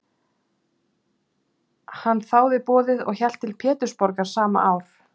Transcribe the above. Hann þáði boðið og hélt til Pétursborgar sama ár.